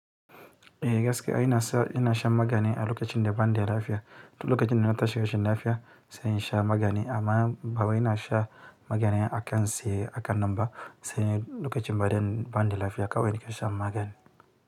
Eh gaske ina shan magani a lokacin da ban da lafiya, to lokacin da na tashi rashin lafiya sai in sha magani amma bawa ina sha magani akai tsaye hakanan ba sai lokacin da ban da lafiya kawai nake shan magani.